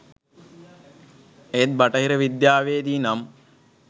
ඒත් බටහිර විද්‍යාවේදී නම්